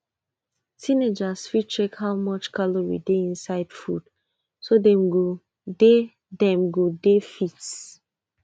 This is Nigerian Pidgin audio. teenagers fit check how much calorie dey inside food so dem go dey dem go dey fit